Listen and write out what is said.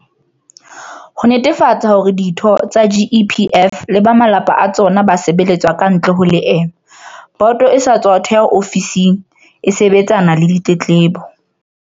Ho netefatsa hore ditho tsa GEPF le ba malapa a tsona ba sebeletswa kantle ho leeme, boto e sa tswa theha ofisi e sebetsanang le ditletlebo.